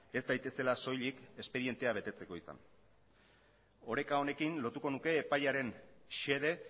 ez daitezela soilik espedientea betetzeko izan oreka honekin lotuko nuke epaiaren xede